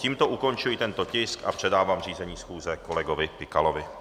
Tímto ukončuji tento tisk a předávám řízení schůze kolegovi Pikalovi.